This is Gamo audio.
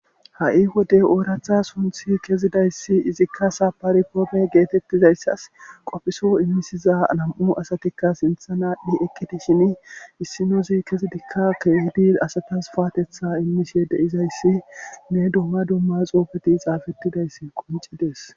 ha7i wode ooratha sunthi kezidayssi izikka saparikoome geetettizayssas qofhiso immisiza nam7u asatikka sintha naadhdhi ekkiti shin issinozi kezidikka keehidi asatas faatetha immishe deizayssi ne duma dumma xoofeti xaafettidayssi qoncides